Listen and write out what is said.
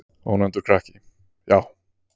Ónefndur krakki: Já.